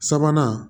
Sabanan